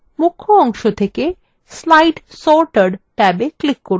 মুখ্য অংশ থেকে slide sorter ট্যাবে click from